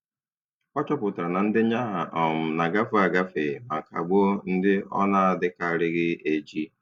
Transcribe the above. Ọ chọpụtara na ndenye aha um na-agafe agafe ma kagbuo ndị ọ na-adịkarịghị eji.